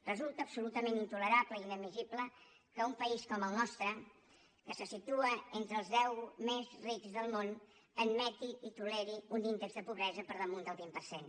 resulta absolutament intolerable i inadmissible que un país com el nostre que se situa entre els deu més rics del món admeti i toleri un índex de pobresa per damunt del vint per cent